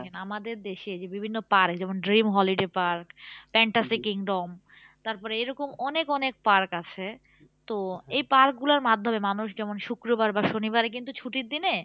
আমাদের দেশে যে বিভিন্ন park যেমন dream holiday park fantasy kingdom তারপরে এরকম অনেক অনেক park আছে তো এই park গুলার মাধ্যমে মানুষ যেমন শুক্রবার বা শনিবারে কিন্তু ছুটির দিনে